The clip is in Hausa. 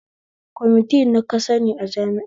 Kwamiti na ka sani a jami'a?